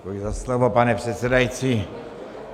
Děkuji za slovo, pane předsedající.